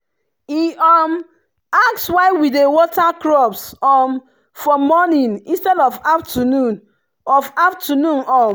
e um ask why we dey water crops um for morning instead of afternoon. of afternoon. um